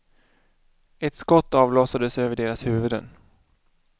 Ett skott avlossades över deras huvuden.